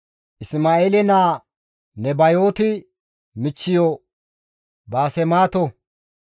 Isma7eele naa Nebayooti michchiyo Baasemaato.